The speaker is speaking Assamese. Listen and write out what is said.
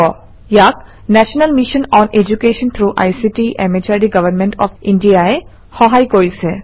ইয়াক national mission on education through ICT MHRD government of India ই সহায় কৰিছে